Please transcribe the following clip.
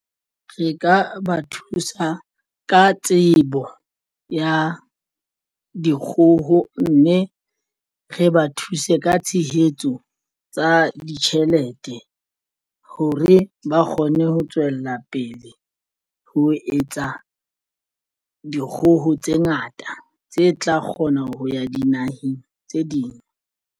Re ka ba thusa ka tsebo ya dikgoho mme re ba thuse ka tshehetso tsa ditjhelete hore ba kgone ho tswella pele ho etsa dikgoho tse ngata tse tla kgona ho ya dinaheng tse ding.